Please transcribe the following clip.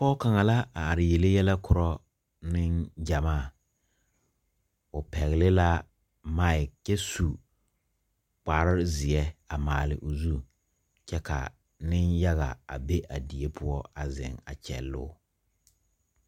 Pɔg kang la a arẽ yele yelɛ kuro ninjamaa ɔ pegli la mike kye su kpare zie a maale ɔ zu kye ka ninyaga a be a deɛ pou a zeng a kyeloo.